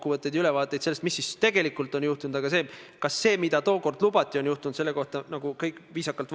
On väga sümpaatne, et te täna siin niimoodi tunnistate viga, mis on juhtunud, ning teete kõik, et seda parandada ja võimaldada puuetega inimestel paremini raudteel liigelda.